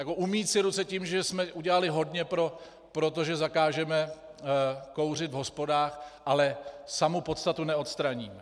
Jako umýt si ruce tím, že jsme udělali hodně pro to, že zakážeme kouřit v hospodách, ale samu podstatu neodstraní.